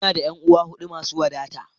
Ina da ƴan'uwa huɗu masu wadata.